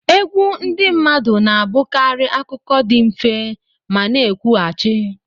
Egwu ndị mmadụ na-abụkarị akụkọ dị mfe ma na-ekwughachi.